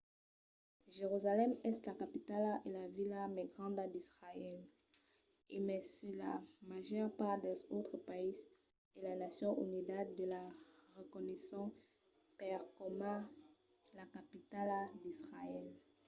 jerusalèm es la capitala e la vila mai granda d'israèl e mai se la màger part dels autres païses e las nacions unidas la reconeisson pas coma la capitala d'israèl